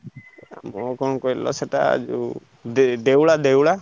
ଆଉ କଣ କହିଲ ସେଇଟା ଯୋଉ ଦେ~ ଦେଉଳା ଦେଉଳା।